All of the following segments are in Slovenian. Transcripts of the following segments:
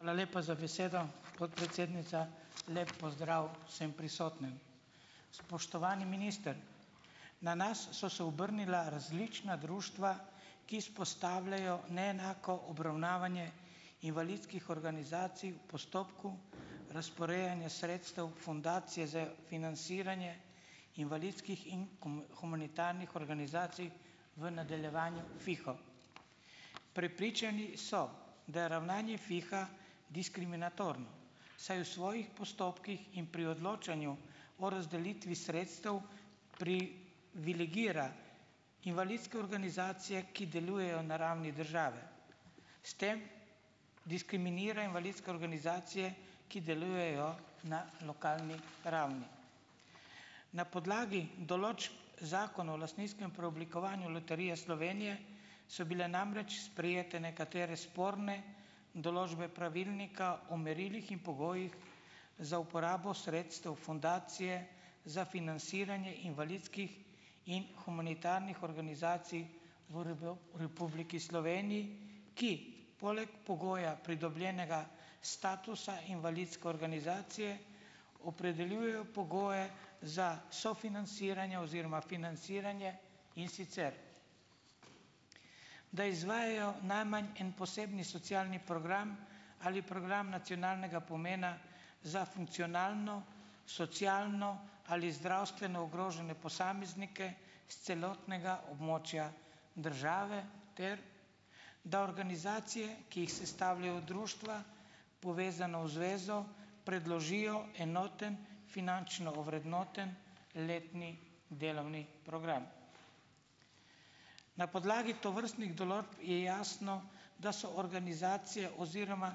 Hvala lepa za besedo, podpredsednica. Lep pozdrav vsem prisotnim! Spoštovani minister! Na nas so se obrnila različna društva, ki izpostavljajo neenako obravnavanje invalidskih organizacij v postopku, razporejanja sredstev Fundacije za financiranje invalidskih in humanitarnih organizacij, v nadaljevanju Fiho. Prepričani so, da je ravnanje Fiha diskriminatorno, saj v svojih postopkih in pri odločanju o razdelitvi sredstev privilegira invalidske organizacije, ki delujejo na ravni države. S tem diskriminira invalidske organizacije, ki delujejo na lokalni ravni. Na podlagi določb zakona o lastninskem preoblikovanju Loterije Slovenije so bile namreč sprejete nekatere sporne določbe pravilnika o merilih in pogojih za uporabo sredstev Fundacije za financiranje invalidskih in humanitarnih organizacij v Republiki Sloveniji, ki poleg pogoja pridobljenega statusa invalidske organizacije opredeljujejo pogoje za sofinanciranje oziroma financiranje, in sicer da izvajajo najmanj en posebni socialni program ali program nacionalnega pomena za funkcionalno, socialno ali zdravstveno ogrožene posameznike s celotnega območja države ter da organizacije, ki jih sestavljajo društva, povezana v zvezo, predložijo enoten finančno ovrednoten letni delovni program. Na podlagi tovrstnih določb je jasno, da so organizacije oziroma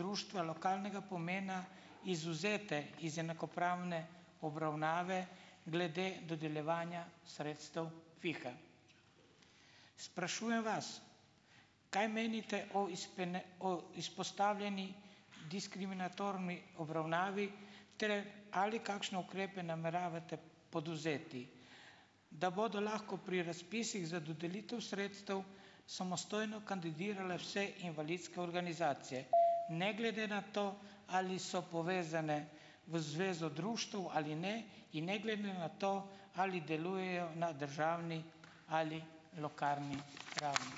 društva lokalnega pomena izvzete iz enakopravne obravnave glede dodeljevanja sredstev Fiha. Sprašujem vas, kaj menite o o izpostavljeni diskriminatorni obravnavi? Ter ali kakšne ukrepe nameravate podvzeti, da bodo lahko pri razpisih za dodelitev sredstev samostojno kandidirale vse invalidske organizacije, ne glede na to, ali so povezane v zvezo društev ali ne, in ne glede na to, ali delujejo na državni ali lokalni ravni.